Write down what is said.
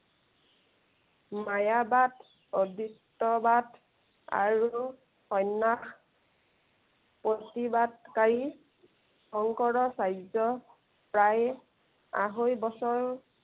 মায়াবাদ অদৃষ্টবাদ আৰু সন্য়াস প্ৰতিবাদ কাৰী, শংকৰাচাৰ্য প্ৰায় আঢ়ৈ বছৰ